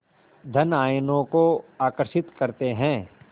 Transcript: धन आयनों को आकर्षित करते हैं